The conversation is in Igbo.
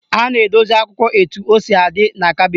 A na-edosi akwụkwọ etu o si adị n'kabịnetị.